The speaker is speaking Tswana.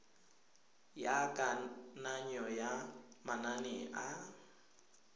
ya kananyo ya manane a